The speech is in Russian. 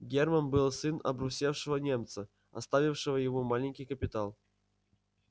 германн был сын обрусевшего немца оставившего ему маленький капитал